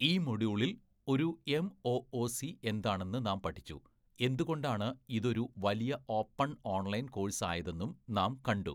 ഈ മൊഡ്യൂളിൽ ഒരു എംഒഒസി എന്താണെന്ന് നാം പഠിച്ചു, എന്തുകൊണ്ടാണ് ഇതൊരു വലിയ ഓപ്പൺ ഓൺലൈൻ കോഴ്സ് ആയതെന്നും നാം കണ്ടു.